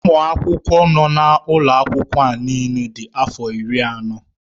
Ụmụ akwụkwọ nọ n'ụlọ akwụkwọ a niile dị afọ iri na anọ.